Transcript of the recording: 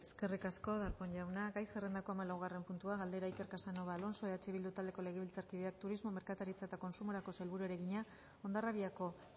eskerrik asko darpón jauna gai zerrendako hamalaugarren puntua galdera iker casanova alonso eh bildu taldeko legebiltzarkideak turismo merkataritza eta kontsumoko sailburuari egina hondarribiako